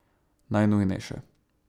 Najnujnejše.